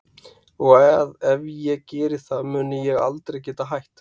Og að ef ég geri það muni ég aldrei geta hætt.